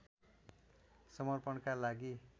समर्पणका लागि